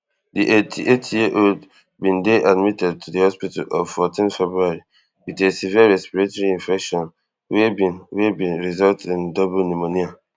di eighty-eightyear old bin dey admitted to di hospital of fourteen february wit a severe respiratory infection wey bin wey bin result in double pneumonia